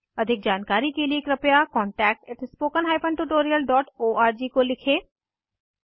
अधिक जानकारी के लिए कृपया contactspoken tutorialorg को लिखें